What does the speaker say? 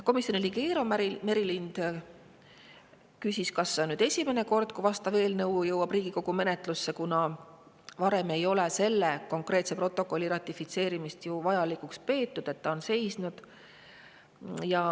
Komisjoni liige Eero Merilind küsis, kas see on esimene kord, kui vastav eelnõu jõuab Riigikogu menetlusse, kuna varem ei ole selle konkreetse protokolli ratifitseerimist vajalikuks peetud ja on seisnud.